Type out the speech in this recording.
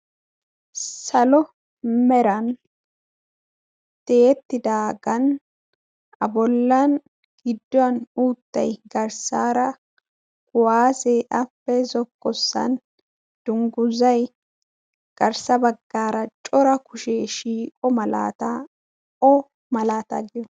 salo meran tiyeettidaagan a bollan gidduwan uuttay garssaara kuwaasee appee zokkossan dungguzai garssa baggaara cora kushee shiiqo malaataa o malaataa giyo